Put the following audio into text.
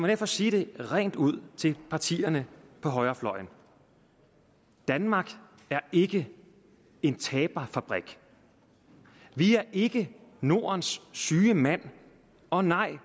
derfor sige det rent ud til partierne på højrefløjen danmark er ikke en taberfabrik vi er ikke nordens syge mand og nej